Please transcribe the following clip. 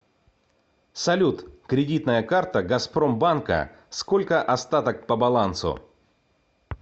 салют кредитная карта газпром банка сколько остаток по балансу